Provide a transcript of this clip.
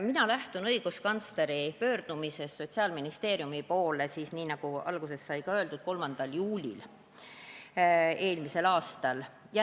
Mina lähtun õiguskantsleri pöördumisest, mille ta esitas Sotsiaalministeeriumile – nii, nagu alguses sai öeldud – eelmise aasta 3. juulil.